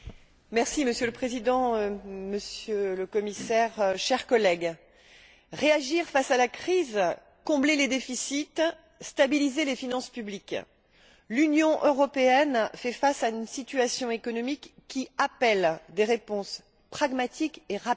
Monsieur le Président, Monsieur le Commissaire, chers collègues, réagir face à la crise, combler les déficits, stabiliser les finances publiques l'Union européenne fait face à une situation économique qui appelle des réponses pragmatiques et rapides.